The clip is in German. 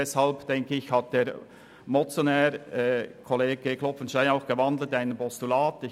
Ich gehe davon aus, dass der Motionär Grossrat Klopfenstein die Motion deswegen in ein Postulat gewandelt hat.